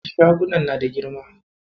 Shagunan na da girma.